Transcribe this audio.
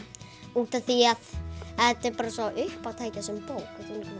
útaf því að þetta er bara svo uppátækjasöm bók